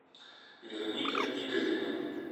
вероника игоревна